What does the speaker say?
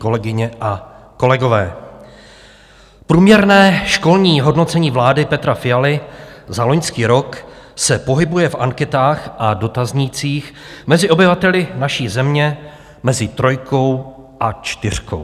Kolegyně a kolegové, průměrné školní hodnocení vlády Petra Fialy za loňský rok se pohybuje v anketách a dotaznících mezi obyvateli naší země mezi trojkou a čtyřkou.